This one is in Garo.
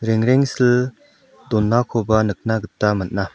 rengrengsil donakoba nikna gita man·a.